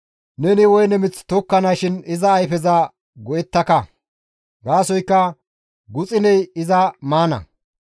Neni woyne mith tokkanashin iza ayfeza go7ettaka; gaasoykka guxuney iza maana.